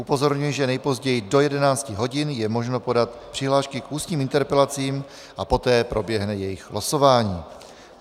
Upozorňuji, že nejpozději do 11 hodin je možno podat přihlášky k ústním interpelacím a poté proběhne jejich losování.